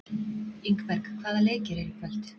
Ingberg, hvaða leikir eru í kvöld?